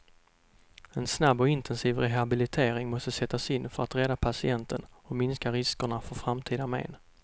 En snabb och intensiv rehabilitering måste sättas in för att rädda patienten och minska riskerna för framtida men.